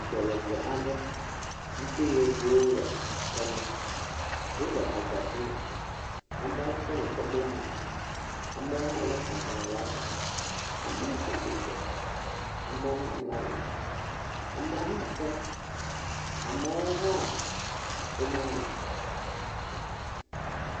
Dɔyɔƒe aɖe yi ke yevuwo le ga ma. Wo le agbatime. Amewo kɔ nu kɔ bla nu. Amewo hã le agbale hã ɖe asi, amewo tsi atsitre, amewo hã mlɔ anyi, amewo hã fɔ, amewo hã womlɔ anyi.